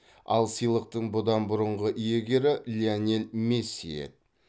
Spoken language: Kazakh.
ал сыйлықтың бұдан бұрынғы иегері лионель месси еді